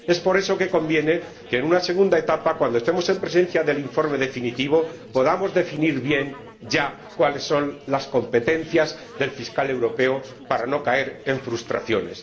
Por eso, conviene que, en una segunda etapa, cuando estemos en presencia del informe definitivo, podamos definir bien, ya, cuáles son las competencias del Fiscal Europeo para no caer en frustraciones.